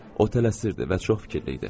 O tələsirdi və çox fikirdə idi.